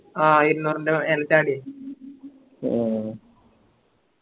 ആ ഇരുന്നൂറിൻറെ മേലെ ച്ചാടി അഹ്